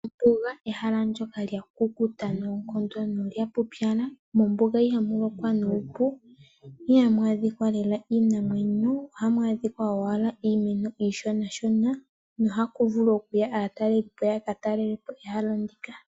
Ombuga ehala ndyoka lya kukuta nolya pupyala. Mombuga ihamu lokwa nuupu ihamu adhika lela iinamwenyo . Ohamu adhika owala iimeno iishona shona na oha ku vulu oku ya aatalelipo yaka talelepo ehala ndika.